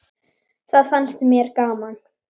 Það fannst mér gaman!